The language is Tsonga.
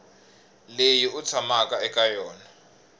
leyi u tshamaka eka yona